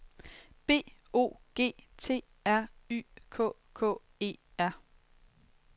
B O G T R Y K K E R